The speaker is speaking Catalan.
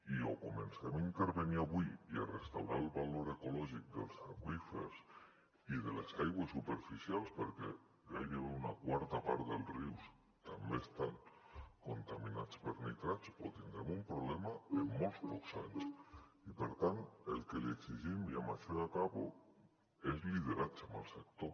i o comencem a intervenir avui i a restaurar el valor ecològic dels aqüífers i de les aigües superficials perquè gairebé una quarta part dels rius també estan contaminats per nitrats o tindrem un problema en molt pocs anys i per tant el que li exigim i amb això ja acabo és lideratge amb el sector